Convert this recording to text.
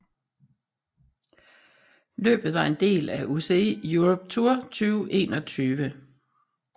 Løbet var en del af UCI Europe Tour 2021